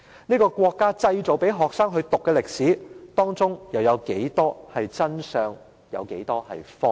這個國家製造出來讓學生修讀的歷史，當中有多少真相、多少謊言？